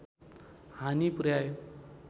हानि पुर्‍याए